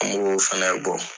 An b'o fana bɔ.